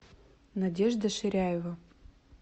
надежда ширяева